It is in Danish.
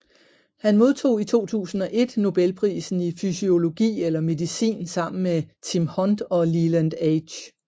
Han modtog i 2001 Nobelprisen i fysiologi eller medicin sammen med Tim Hunt og Leland H